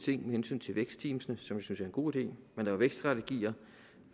ting med hensyn til vækstteamene synes er en god idé man laver vækststrategier og